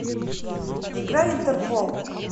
играй интерпол